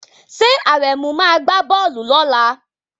Ṣé Àrẹ̀mú máa gbá bọ́ọ̀lù lọ́la?